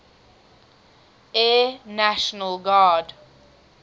air national guard